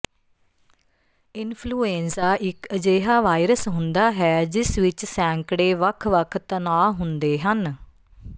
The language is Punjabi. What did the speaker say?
ਇਨਫਲੂਏਂਜ਼ਾ ਇੱਕ ਅਜਿਹਾ ਵਾਇਰਸ ਹੁੰਦਾ ਹੈ ਜਿਸ ਵਿੱਚ ਸੈਂਕੜੇ ਵੱਖ ਵੱਖ ਤਣਾਅ ਹੁੰਦੇ ਹਨ